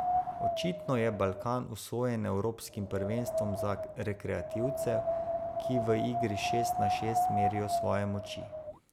Očitno je Balkan usojen evropskim prvenstvom za rekreativce, ki v igri šest na šest merijo svoje moči.